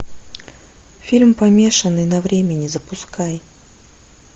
фильм помешанный на времени запускай